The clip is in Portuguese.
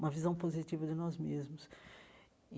uma visão positiva de nós mesmos.